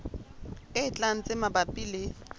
e tlang tse mabapi le